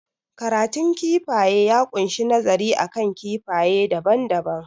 Karatun kifaye ya kunshi nazari akan kifaye daban daban